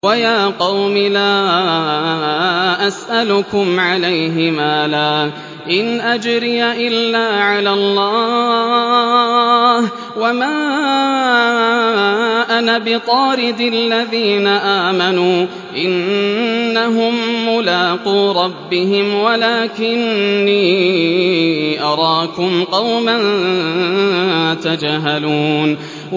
وَيَا قَوْمِ لَا أَسْأَلُكُمْ عَلَيْهِ مَالًا ۖ إِنْ أَجْرِيَ إِلَّا عَلَى اللَّهِ ۚ وَمَا أَنَا بِطَارِدِ الَّذِينَ آمَنُوا ۚ إِنَّهُم مُّلَاقُو رَبِّهِمْ وَلَٰكِنِّي أَرَاكُمْ قَوْمًا تَجْهَلُونَ